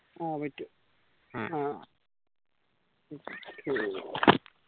ആ